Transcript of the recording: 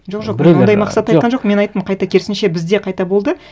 жоқ жоқ мен ондай мақсатта айтқан жоқпын мен айттым қайта керісінше бізде қайта болды